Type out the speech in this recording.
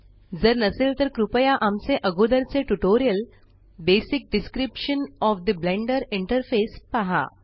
जर नसेल तर कृपया आमचे अगोदरचे tutorial basic description of the Blender interface पहा